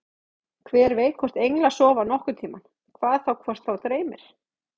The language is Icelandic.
Hver veit hvort englar sofa nokkurn tímann, hvað þá hvort þá dreymir.